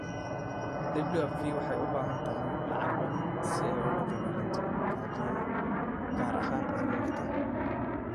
WFP waxay u baahan tahay lacag badan si ay ula dagaalanto gaajada gaar ahaan carruurta